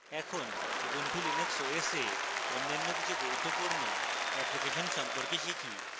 এখন ubuntu linux os এ অন্য কিছু গুরুত্বপূর্ণ অ্যাপ্লিকেশন সম্পর্কে শিখি